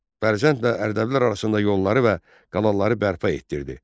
Bərdə ilə Ərdəbillər arasında yolları və qalanları bərpa etdirdi.